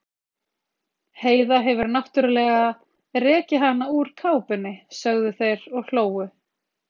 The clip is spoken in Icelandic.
Heiða hefur náttúrlega rekið hana úr kápunni, sögðu þeir og hlógu.